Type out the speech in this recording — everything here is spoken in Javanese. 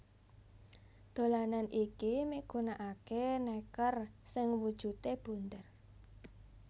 Dolanan iki migunakaké nèker sing wujudé bunder